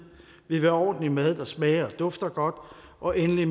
vi vil have ordentlig mad der smager og dufter godt og endelig